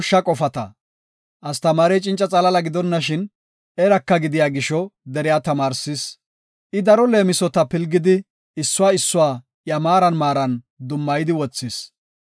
Astamaarey cinca xalaala gidonashin eraka gidiya gisho deriya tamaarsis. I daro leemisota pilgidi issuwa issuwa iya maaran maaran dummayidi wothis.